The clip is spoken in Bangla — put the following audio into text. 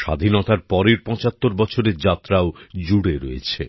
স্বাধীনতার পরের ৭৫ বছরের যাত্রাও জুড়ে রয়েছে